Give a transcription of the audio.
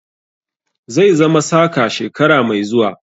Zai zama saka shekara mai zuwa.